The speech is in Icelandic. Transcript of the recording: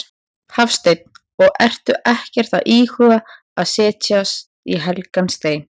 Hafsteinn: Og ertu ekkert að íhuga að setja í helgan stein?